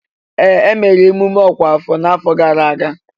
Ee! E mere mmemme ọkwa afọ n'afọ gara aga.